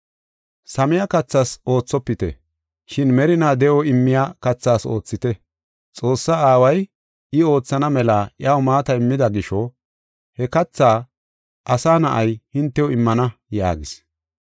Samiya kathas oothopite, shin merinaa de7o immiya kathas oothite. Xoossaa Aaway I oothana mela iyaw maata immida gisho he katha Asa Na7ay hintew immana” yaagis.